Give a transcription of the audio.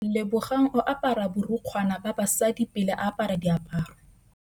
Lebogang o apara borukgwana ba basadi pele a apara diaparô.